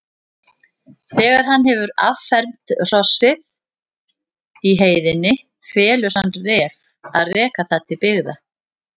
Þegar hann hefur affermt hrossið í heiðinni felur hann Ref að reka það til byggða.